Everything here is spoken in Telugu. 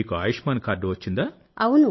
మీకు ఆయుష్మాన్ కార్డు వచ్చిందా